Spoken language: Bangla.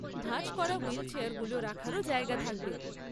ভাঁজ করা হুইলচেয়ারগুলো রাখারও জায়গা থাকবে।